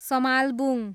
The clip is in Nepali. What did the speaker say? समालबुङ